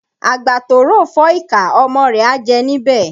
Àgbà tó ròfọ́ ìkà, ọmọ rẹ̀ á jẹ níbẹ̀